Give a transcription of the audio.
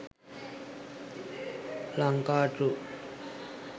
lankatruth